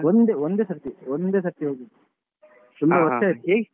ಒಂದೇ ಒಂದೇ ಸರ್ತಿ ಒಂದೇ ಸರ್ತಿ ಹೊಗಿದ್ದು ತುಂಬ ವರ್ಷ ಆಯ್ತು.